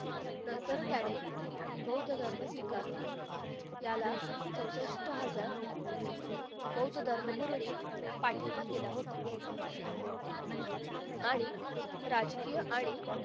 नंतर त्याने बौद्ध धर्म स्वीकारला त्याला चौसष्ट हजार बौद्ध धर्मगुरू नि पाठिंबा दिला होता आणि राजकीय आणि